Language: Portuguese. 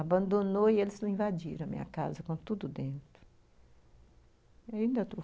Abandonou e eles invadiram a minha casa, com tudo dentro.